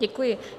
Děkuji.